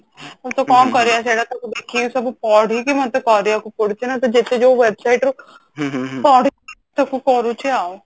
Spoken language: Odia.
କିନ୍ତୁ କଣ କରିବା ସେଟା ତାକୁ ଦେଖିକି ସବୁ ପଢିକି ମତେ କରିବାକୁ ପଡୁଛି ନା ତ ଯେତେ ଯୋଉ website ରୁ ପଢିକି ମୁଁ ତାକୁ କରୁଛି ଆଉ